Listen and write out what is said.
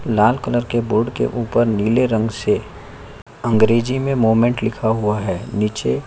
लाल colour के board के ऊपर नीले रंग से अंग्रेजी में मोमेंट लिखा हुआ है नीचे --